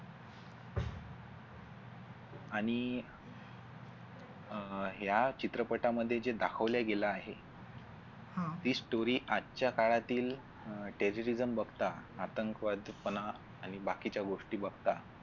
आणि अह ह्या चित्रपटामध्ये जे दाखवल्या गेलं आहे ती story आजच्या काळातील Terry Reason बघता आतंकवाद पणा आणि बाकीच्या गोष्टी बघता